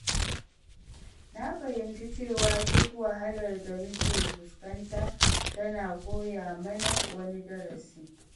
Na fahimci cewa duk wahalar da muke fuskanta tana koya mana wani darasi.